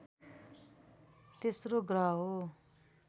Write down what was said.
तेस्रो ग्रह हो